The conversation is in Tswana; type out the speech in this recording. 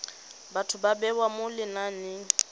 batho ba bewa mo lenaneng